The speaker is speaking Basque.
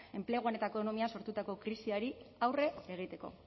enpleguan eta ekonomian sortutako krisiari aurre egiteko